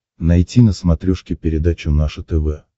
найти на смотрешке передачу наше тв